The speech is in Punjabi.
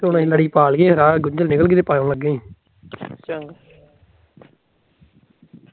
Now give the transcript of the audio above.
ਲੜੀ ਪਾ ਲਈ ਹੈ, ਰਾਹ ਚ ਗੁੰਜਾਲ ਨਿਕਲ ਗਈ ਤੇ